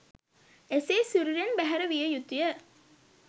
එසේ සිරුරින් බැහැර විය යුතුය.